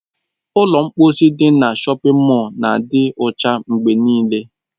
Ụlọ mkposi ndị dị na shọpin mọl na-adị ọcha mgbe nịịle.